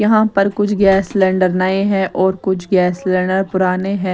यहां पर कुछ गैस सिलेंडर नए हैं और कुछ गैस सिलेंडर पुराने हैं।